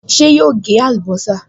Ṣé yóò gé àlùbọ́sà?